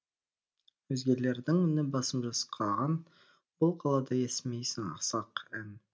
өзгелердің үні басым жасқаған бұл қалада естімейсің асқақ ән